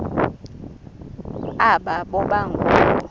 aba boba ngoo